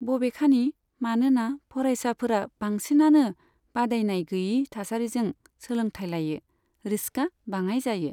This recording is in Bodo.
बबेखानि, मानोना फरायसाफोरा बांसिनानो बादायनायगैयि थासारिजों सोलोंथाय लायो, रिस्कआ बाङाय जायो।